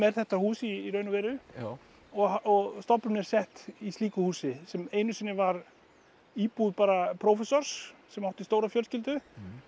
þetta hús í raun og veru og stofnunin er í slíku húsi sem einu sinni var íbúð prófessors sem átti stóra fjölskyldu